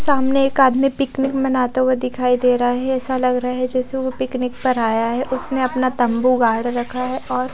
सामने एक आदमी पिकनिक मनाते हुए नजर आ रहे है ऐसा लग रहा है जैसे वो पिकनिक पर आये है उसने अपना तंबू गाड़ रखा है और--